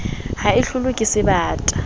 ha e hlolwe ke sebata